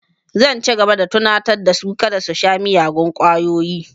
Zan ci gaba da tunatar da su kada su sha miyagun ƙwayoyi